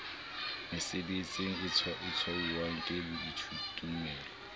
mesebetsing e tshwauwang ke baithutimmoho